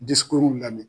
Dusukun lamɛn